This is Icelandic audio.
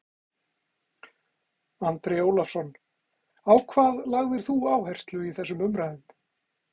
Andri Ólafsson: Á hvað lagðir þú áherslu í þessum umræðum?